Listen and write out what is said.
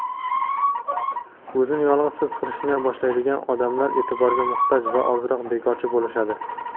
o‘zini yolg‘iz his qilishni boshlaydigan odamlar "e’tiborga muhtoj" va ozroq bekorchi bo‘lishadi.